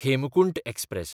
Hemkunt express